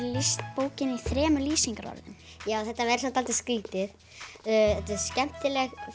lýst bókinni í þremur lýsingarorðum já það verður samt dálítið skrítið þetta er skemmtileg